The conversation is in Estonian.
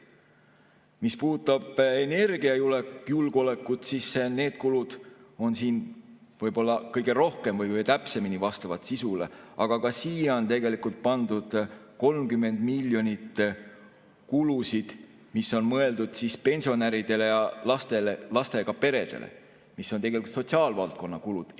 Mis puudutab energiajulgeolekut, siis need kulud võib-olla kõige rohkem või täpsemini vastavad sisule, aga ka siia on pandud 30 miljonit kulusid, mis on mõeldud pensionäridele, lastele ja lastega peredele, mis on tegelikult sotsiaalvaldkonna kulud.